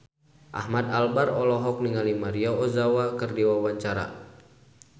Ahmad Albar olohok ningali Maria Ozawa keur diwawancara